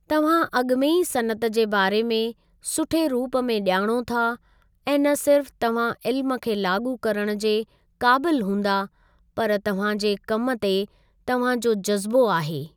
तव्हां अॻु में ई सनअत जे बारे में सुठे रुप में ॼाणो था ऐं न सिर्फ़ तव्हां इल्म खे लाॻू करणु जे क़ाबिलु हूंदा पर तव्हां जे कमि ते तव्हां जो जज़्बो आहे।